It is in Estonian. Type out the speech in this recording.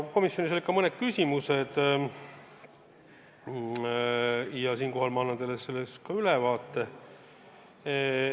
Komisjonis olid ka mõned küsimused, annan teile nendest ülevaate.